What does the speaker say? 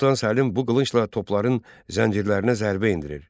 Sultan Səlim bu qılıncla topların zəncirlərinə zərbə endirir.